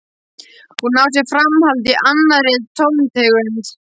Hún á sér framhald í annarri tóntegund.